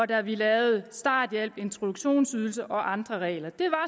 da vi lavede starthjælpen introduktionsydelsen og de andre regler